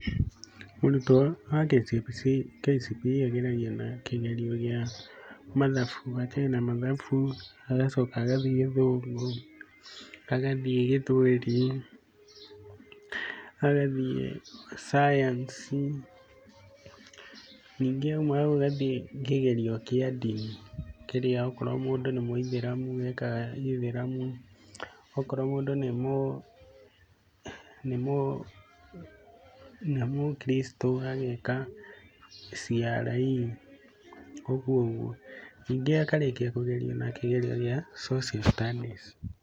Mũrutwo wa KCPE ageragio na kĩgerio gĩa mathabu, anjĩe na mathabu, agacoka agathiĩ Gĩthũngũ, agathiĩ Gĩthweri, agathiĩ cayansi, ningĩ auma hau agathiĩ kĩgerio kĩa ndini kĩrĩa akorwo mũndũ nĩ mũithĩramu ekaga gĩĩthĩramu, akorwo mũndũ nĩ mũ kristo ageka CRE, ũguo ũguo, ningĩ akarĩkia kũgeria na kĩgerio gĩa social studies.